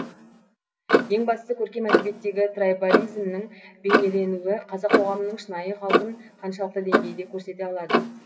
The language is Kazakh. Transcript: ең бастысы көркем әдебиеттегі трайбализмнің бейнеленуі қазақ қоғамының шынайы қалпын қаншалықты деңгейде көрсете алды